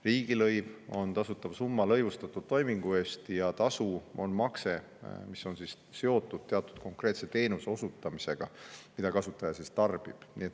Riigilõiv on tasutav summa lõivustatud toimingu eest ja tasu on makse, mis on seotud teatud konkreetse teenuse osutamisega, mida kasutaja tarbib.